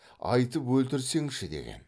айтып өлтірсеңші деген